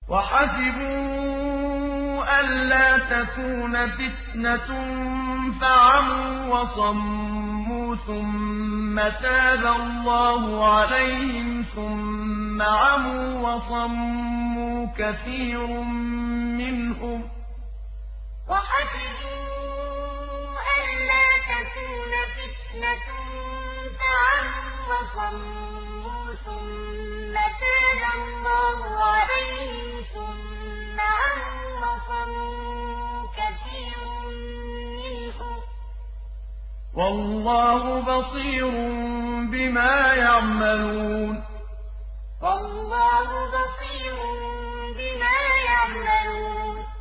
وَحَسِبُوا أَلَّا تَكُونَ فِتْنَةٌ فَعَمُوا وَصَمُّوا ثُمَّ تَابَ اللَّهُ عَلَيْهِمْ ثُمَّ عَمُوا وَصَمُّوا كَثِيرٌ مِّنْهُمْ ۚ وَاللَّهُ بَصِيرٌ بِمَا يَعْمَلُونَ وَحَسِبُوا أَلَّا تَكُونَ فِتْنَةٌ فَعَمُوا وَصَمُّوا ثُمَّ تَابَ اللَّهُ عَلَيْهِمْ ثُمَّ عَمُوا وَصَمُّوا كَثِيرٌ مِّنْهُمْ ۚ وَاللَّهُ بَصِيرٌ بِمَا يَعْمَلُونَ